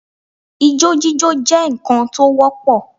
Ijó jíjó jẹ́ ǹkan tó wọ́pọ̀